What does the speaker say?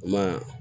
Ma